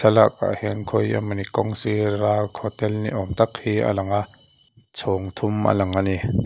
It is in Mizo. thlalak ah hian khawi emaw ni kawng sir a hotel niawm tak hi a lang a chhawng thum a lang a ni.